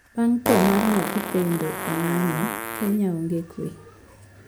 Bang` thoo mar nyathi pendo e ng`anyo kenya onge kwee